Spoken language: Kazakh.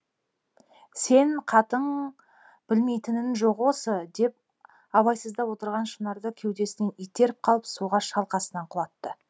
сен қатың білмейтінің жоқ осы деп абайсызда отырған шынарды кеудесінен итеріп қалып суға шалқасынан құлатты